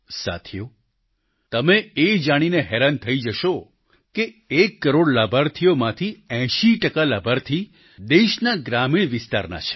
સાથીઓ તમે એ જાણીને હેરાન થઈ જશો કે એક કરોડ લાભાર્થીઓમાંથી 80 ટકા લાભાર્થી દેશના ગ્રામીણ વિસ્તારના છે